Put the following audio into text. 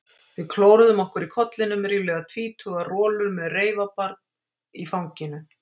Við klóruðum okkur í kollinum, ríflega tvítugar rolur með reifabarn í fanginu?